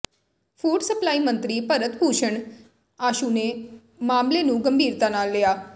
food supply ਮੰਤਰੀ ਭਰਤ ਭੂਸਣ ਆਸ਼ੂ ਨੇ ਮਾਮਲੇ ਨੂੰ ਗੰਭੀਰਤਾ ਨਾਲ ਲਿਆ